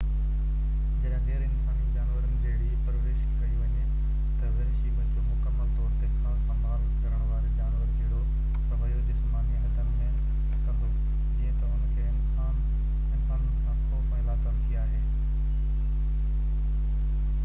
جڏهن غير انساني جانورن جهڙي پرورش ڪئي وڃي، تہ وحشي ٻچو مڪمل طور تي خاص سنڀال ڪرڻ واري جانور جهڙو رويو جسماني حدن ۾ ڪندو، جيئن تہ ان کي انسانن سان خوف ۽ لاتعلقي آهي